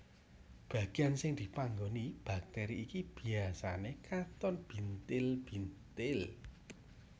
Bagian sing dipanggoni bakteri iki biasane katon bintil bintil